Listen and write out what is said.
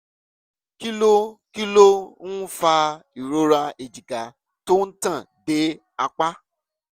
kí ló kí ló ń fa ìrora èjìká tó ń tàn dé apá?